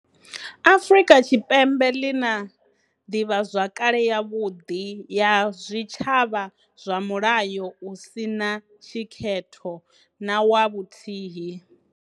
Afrika Tshipembe ḽi na ḓivhazwakale yavhuḓi ya zwitshavha zwa mulayo u si na tshikhetho na wa vhuthihi.